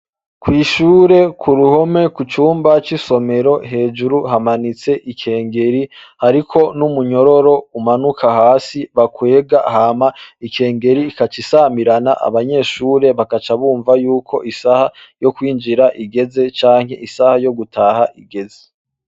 Kw'ishure ku ruhome ku cumba c'isomero hejuru, hamanitse ikengeri hariko n'umunyororo umanuka hasi bakwega, hama ikengeri igaca isamirana, abanyeshure bagaca bumva yuko isaha yo kwinjira igeze canke isaha yo gutaha igeze.